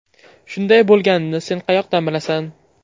Shunday bo‘lganini sen qayoqdan bilasan?